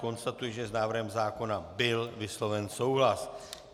Konstatuji, že s návrhem zákona byl vysloven souhlas.